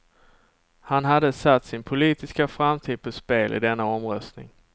Han hade satt sin politiska framtid på spel i denna omröstning.